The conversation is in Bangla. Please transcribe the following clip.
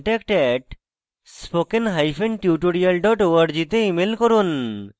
contact @spokentutorial org তে ইমেল করুন